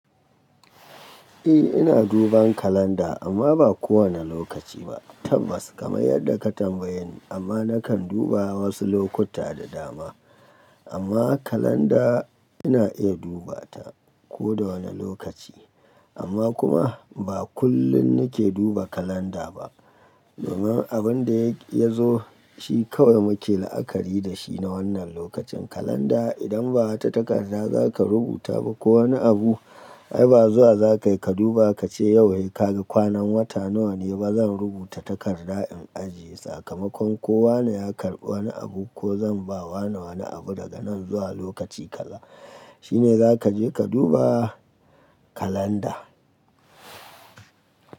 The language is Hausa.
Eh ina duban kalanda amma ba kowane lokaci ba tabbas kamar yadda ka tambaye ni amma nakan duba wasu lokuta da dama amma kalanda ina iya duba ta ko da wane lokaci amma kuma ba kullum nake duba kalanda ba domin abin da ya zo shi kawai muke la'akari da shi na wannan lokacin kalanda idan ba wata takarda za ka rubuta ba ko wani abu ai ba zuwa za kayi ka duba ka ce yau sai kaga kwanan wata nawa ne ba zan rubuta takarda in ajiye sakamakon ko wane ya karɓi wani abu ko zan ba wane wani abu daga nan zuwa lokaci kaza shine za ka je ka duba kalanda.